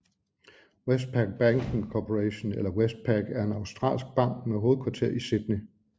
Westpac Banking Corporation eller Westpac er en australsk bank med hovedkvarter i Sydney